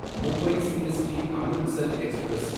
Mumbai CST Amritsar express